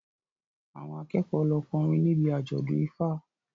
Àwọn akẹ́kọ̀ọ́ lọ kọrin níbi àjọ̀dún Ifa